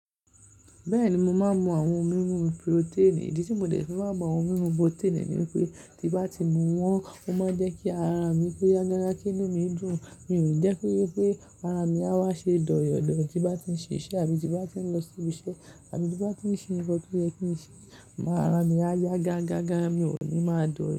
Bẹ́ẹ̀ni mo máa ń mú àwọn ohun mímu protein. Ìdí tí mo dé ti máa ń mu àwọn ohun mímu protein ní wipé tí bá ti mu wọ́n, ó máa ń jẹ́ kí ara mi ko yágágá kinu mi dùn. Mi ò ni jẹ́ki wipé ara mi á wá ṣe dọyọ̀ dọ tí bá ti ń ṣ'iṣẹ́ àbí tí bá ti ń lọ sí ibiṣẹ́ àbí tí bá ti ń ṣe nǹkan tó yẹ́ kí n ṣe, ara mi á yágágágá, mi ò ní máa dọyọ̀.